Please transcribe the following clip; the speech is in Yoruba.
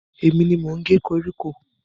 Èmi ni mò ń ge koríko.